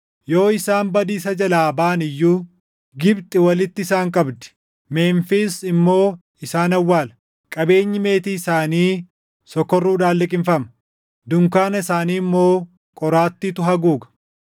Yoo isaan badiisa jalaa baʼan iyyuu Gibxi walitti isaan qabdi; Memfiis immoo isaan awwaala. Qabeenyi meetii isaanii sokorruudhaan liqimfama; dunkaana isaanii immoo qoraattiitu haguuga.